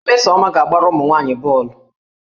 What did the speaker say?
Mmesoma ga-agbara ụmụ nwaanyị bọọlụ